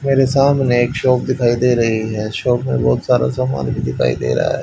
मेरे सामने एक शॉप दिखाई दे रही है शॉप में बहुत सारा सामान भी दिखाई दे रहा है।